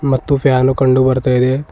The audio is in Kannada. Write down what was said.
ಮತ್ತು ಫ್ಯಾನು ಕಂಡು ಬರ್ತಾ ಇದೆ.